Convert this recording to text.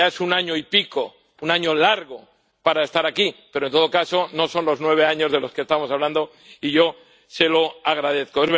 Ya es un año y pico, un año largo para que esté aquí. Pero, en todo caso, no son los nueve años de los que estamos hablando, y yo se lo agradezco.